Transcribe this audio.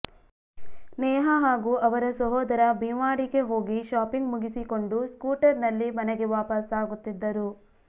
ನೇಹಾ ಹಾಗೂ ಅವರ ಸಹೋದರ ಭಿವಾಂಡಿಗೆ ಹೋಗಿ ಶಾಪಿಂಗ್ ಮುಗಿಸಿಕೊಂಡು ಸ್ಕೂಟರ್ ನಲ್ಲಿ ಮನೆಗೆ ವಾಪಸ್ಸಾಗುತ್ತಿದ್ದರು